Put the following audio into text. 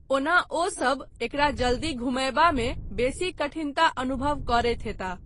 ओना ओ सभ एकरा जल्दी घुमयबामे बेसी कठिनता अनुभव करैत हेताह।